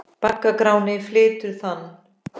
Bagga Gráni flytur þann.